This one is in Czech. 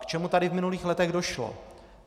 K čemu tady v minulých letech došlo?